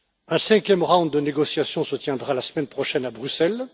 Un cinquième cycle de négociation se tiendra la semaine prochaine à Bruxelles.